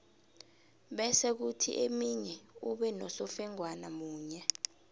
bese kuthi eminye ube nosofengwana munye